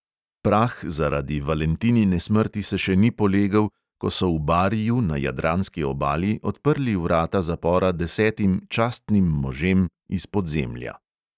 Prah zaradi valentinine smrti se še ni polegel, ko so v bariju na jadranski obali odprli vrata zapora desetim "častnim možem" iz podzemlja.